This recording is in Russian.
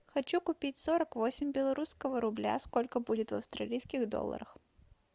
хочу купить сорок восемь белорусского рубля сколько будет в австралийских долларах